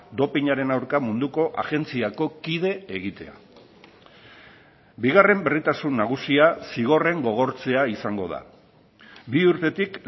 dopinaren aurka munduko agentziako kide egitea bigarren berritasun nagusia zigorren gogortzea izango da bi urtetik